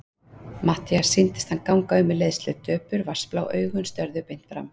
Matthíasi sýndist hann ganga um í leiðslu, döpur, vatnsblá augun störðu beint fram.